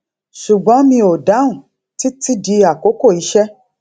ṣùgbọn mi ò dáhùn títí di àkókò iṣé